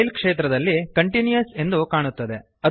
style ಕ್ಷೇತ್ರದಲ್ಲಿ continuous ಎಂದು ಕಾಣುತ್ತದೆ